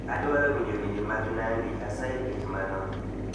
Adwaro winjo wende mag nandy asayi ket mano